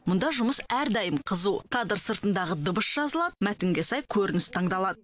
мұнда жұмыс әрдайым қызу кадр сыртындағы дыбыс жазылады мәтінге сай көрініс таңдалады